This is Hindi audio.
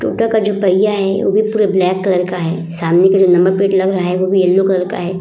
टोटो का जो पहियाँ है वो भी पूरा ब्लैक कलर का है सामने का जो नंबर प्लेट लग रहा है वो भी येलो कलर का है।